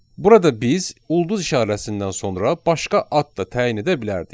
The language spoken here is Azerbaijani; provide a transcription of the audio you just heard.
Burada biz ulduz işarəsindən sonra başqa ad da təyin edə bilərdik.